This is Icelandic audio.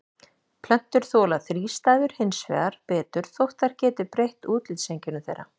Plöntur þola þrístæður hins vegar betur þótt þær geti breytt útlitseinkennum þeirra.